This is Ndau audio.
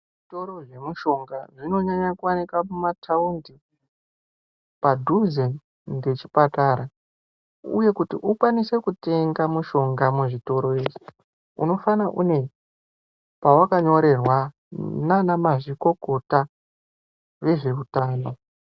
Zitoro zvemushonga zvinonyanya kuwanika muma taundi padhuze ngechipatara uye kuti ukwanise kutenga mushonga muzvitoro izvi unofana une pawakanyorerwa naana mazvikokota vezve utano.